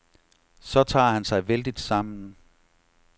Så tager han sig vældigt sammen.